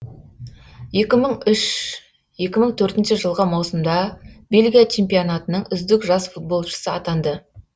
екі мың үш екі мың төртінші жылғы маусымда бельгия чемпионатының үздік жас футболшысы атанды